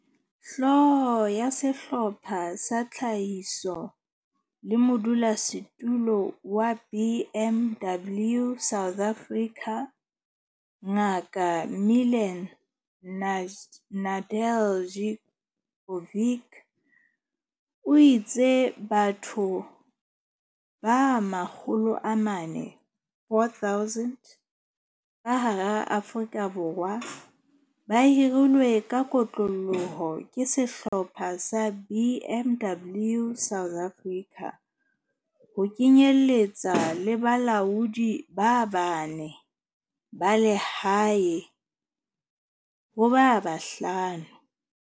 Hlooho ya Sehlopha sa Tlhahiso le modulasetulo wa BMW South Africa, Ngaka Milan Nedeljkovic, o itse batho makgolo a mane, 4 000 ka hara Afrika Borwa ba hirilwe ka kotloloho ke Sehlopha sa BMW South Africa, ho kenyeletswa le balaodi ba bane ba lehae ho ba bahlano.